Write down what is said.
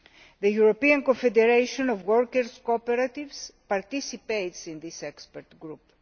The European Confederation of Worker Cooperatives participates in this expert group.